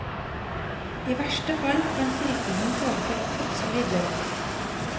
I verste fall kan sykdommen føre til plutselig død.